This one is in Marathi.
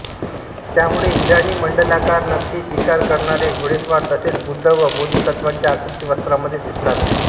त्यामुळे इराणी मंडलाकार नक्षी शिकार करणारे घोडेस्वार तसेच बुद्ध व बोधिसत्त्वांच्या आकृती वस्त्रांमध्ये दिसू लागल्या